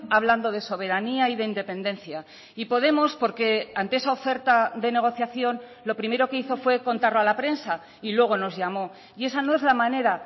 hablando de soberanía y de independencia y podemos porque ante esa oferta de negociación lo primero que hizo fue contarlo a la prensa y luego nos llamó y esa no es la manera